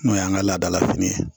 N'o y'an ka laadala fini ye